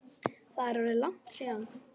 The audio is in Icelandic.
Það er orðið langt síðan.